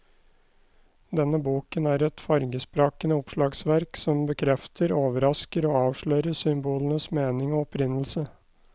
Denne boken er et fargesprakende oppslagsverk som bekrefter, overrasker og avslører symbolenes mening og opprinnelse.